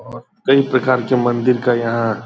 और कई प्रकार के मंदिर का यहाँ --